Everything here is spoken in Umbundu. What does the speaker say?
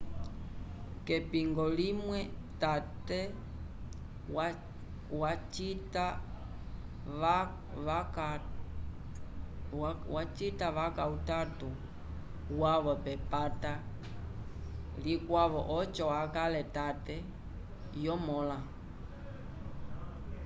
k'epingo limwe tate vacita vaca utato wavo k'epata likwavo oco akale tate yomõla